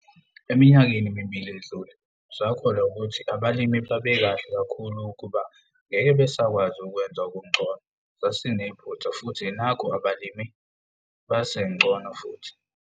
Eminyakeni emibili edlule, sakholwa ukuthi abalimi babekahle kakhulu ukuba ngeke besakwazi ukwenza okungcono - sasinephutha futhi nakhu abalimi basengcono futhi!